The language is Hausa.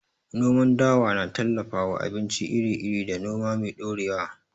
Noman dawa na tallafawa abinci iri-iri da noma mai ɗorewa.